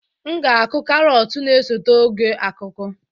M ga-akụ carrots na-esote oge akuku